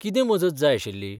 कितें मजत जाय आशिल्ली?